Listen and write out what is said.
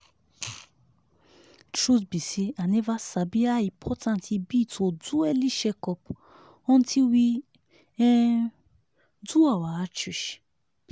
truth be say i never sabi how important e be to do early check-up until we um do our outreach.